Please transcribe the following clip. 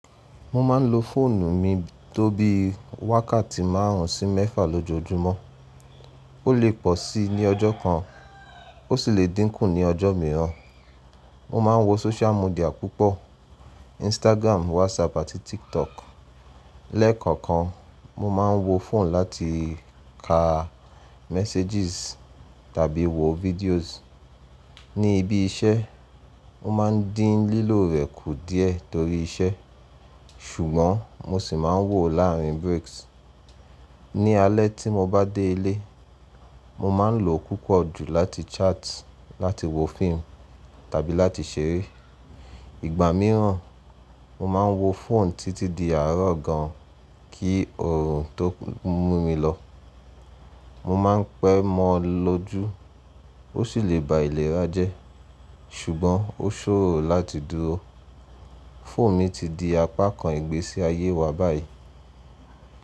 Mo ma n lo fóònù mi tó bí wákàtí márùn ún sí méfà lójojúmọ́. Ó lè pọ̀ sí í ní ọjọ́ kan, ó sì lè dínkù ní ọjọ́ mìíràn. Mo ma n wo social media púpọ̀: Instagram, WhatsApp àti TikTok. Lẹ́ẹ̀kọ̀okan, mo ma n wo fóònù láti ka messages tàbí wo videos. Ní ibi iṣẹ́, o ma ń dín lílò rẹ̀ kù díẹ̀ torí iṣẹ́, ṣùgbọ́n mo sì ma n wo láàrin breaks. Ní alẹ́ tí mo bá dé ilé, mo ma n lo púpọ̀ jù láti chat, láti wo fíìmù tàbí láti ṣeré. Ìgbà mìíràn, mo ma n wo fóònù títí di àárọ̀ gan kí òòrùn tó mú mi lọ. Mo ma n pẹ́ mọ́ ọ lóju, ó sì lè ba ìlera jẹ́, ṣùgbọ́n ó ṣòro láti dúró. Fóònù mi ti di apá kan ìgbésí ayé wa báyìí.